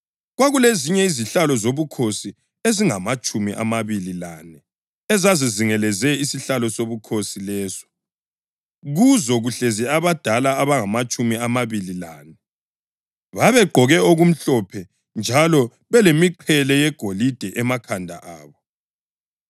Kwakulezinye izihlalo zobukhosi ezingamatshumi amabili lane ezazizingelezele isihlalo sobukhosi leso, kuzo kuhlezi abadala abangamatshumi amabili lane. Babegqoke okumhlophe njalo belemiqhele yegolide emakhanda abo.